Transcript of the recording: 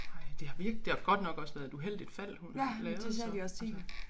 Ej det har virkelig det har godt nok også været et uheldigt fald hun lavede så altså